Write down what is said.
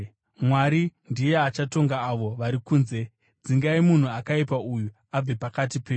Mwari ndiye achatonga avo vari kunze. “Dzingai munhu akaipa uyu abve pakati penyu.”